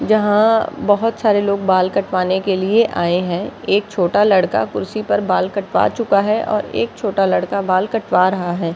यहाँ बहुत सारे लोग बाल कटवाने के लिए आए है एक छोटा लड़का कुर्सी पर बाल कटवा चुका है और एक छोटा लड़का बाल कटवा रहा है।